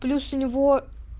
плюс у него